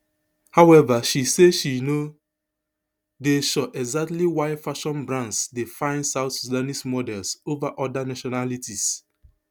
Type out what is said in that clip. however she say she no dey sure exactly why fashion brands dey find south sudanese models over oda nationalities